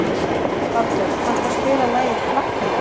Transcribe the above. Baldur, kanntu að spila lagið „Flakkarinn“?